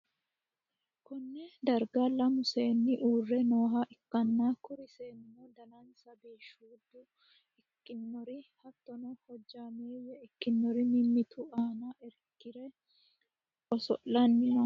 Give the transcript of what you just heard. konne darga lame seenni uurre nooha ikkanna, kuri seennino danansa biishshuudde ikkinori hattono, hojjaameeyye ikkinori mimmitu aana irkire oso'lanni no.